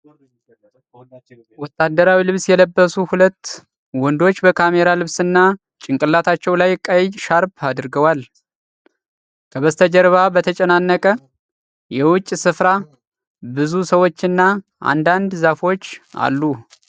ወታደራዊ ልብስ የለበሱ ሁለት ወንዶች በካሜራ ልብስና ጭንቅላታቸው ላይ ቀይ ሻርፕ አድርገዋል። ከበስተጀርባ በተጨናነቀ የውጭ ስፍራ ብዙ ሰዎችና አንዳንድ ዛፎች አሉ።